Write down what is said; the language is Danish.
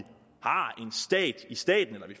stat i staten eller at